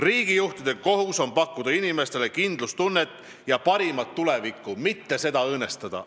Riigijuhtide kohus on pakkuda inimestele kindlustunnet ja parimat tulevikku, mitte seda õõnestada.